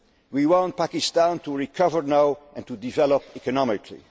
trade we want Pakistan to recover now and to develop economically.